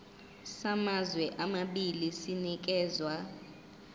samazwe amabili sinikezwa